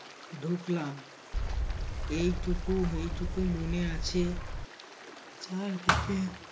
ঢুকলাম। এইটুকু এইটুকু মনে আছে চার দিকে